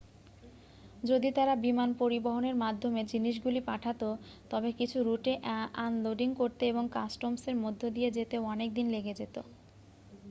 যদি তারা বিমান পরিবহণের মাধ্যমে জিনিসগুলি পাঠাতো তবে কিছু রুটে আনলোডিং করতে এবং কাস্টমসের মধ্য দিয়ে যেতে অনেক দিন লেগে যেত